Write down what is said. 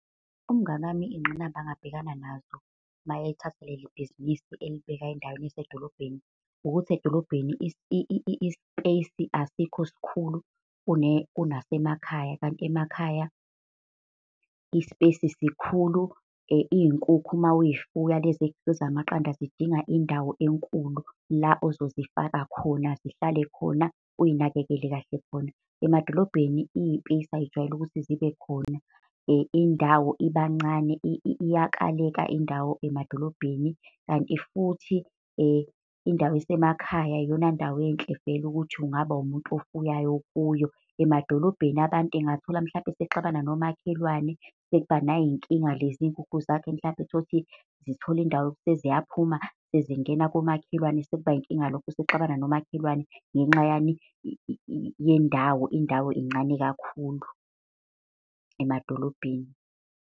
Umngani wami iy'ngqinamba angabhekana nazo mayethatha leli bhizinisi elibeka endaweni esedolobheni ukuthi edolobheni i-space asikho sikhulu kunasemakhaya, kanti emakhaya i-space sikhulu. Iy'nkukhu mawuy'fuya lezi zamaqanda zidinga indawo enkulu la ozozifaka khona, zihlale khona uy'nakekele kahle khona. Emadolobheni iy'pesi ay'jwayele ukuthi zibe khona, indawo ibancane iyakaleka indawo emadolobheni. Kanti futhi indawo esemakhaya iyona ndawo enhle vele ukuthi ungaba umuntu ofuyayo kuyo. Emadolobheni abantu engathola mhlampe esexabana nomakhelwane, sekuba nayinkinga lezi nkukhu zakhe. Mhlampe uthole ukuthi zithole indawo seziyaphuma, sezingena komakhelwane sekuba yinkinga lokho, usexabana nomakhelwane, ngenxa yani, yendawo, indawo incane kakhulu emadolobheni.